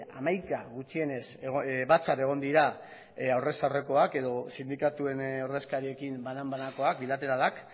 hamaika gutxienez batzar egon dira aurrez aurrekoak edo sindikatuen ordezkariekin banan banakoak bilateralak